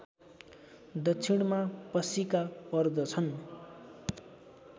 दक्षिणमा पशिका पर्दछन्